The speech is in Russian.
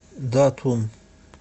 датун